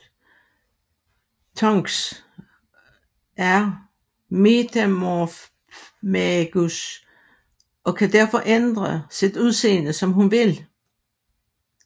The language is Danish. Tonks er Metamorfmagus og kan derfor ændre sit udseende som hun vil